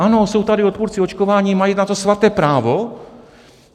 Ano, jsou tady odpůrci očkování, mají na to svaté právo.